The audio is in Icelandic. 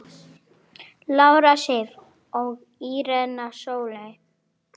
Lára Sif og Írena Sóley.